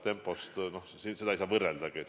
Tavapärase tempoga ei saa seda võrreldagi.